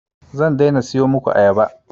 Zan daina siyo muku ayaba